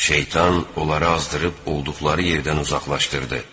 Şeytan onlara azdırıb olduqları yerdən uzaqlaşdırdı.